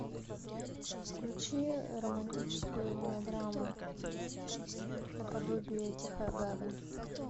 включи романтическую мелодраму наподобие тихая гавань